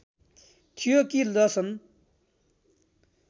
थियो कि लसन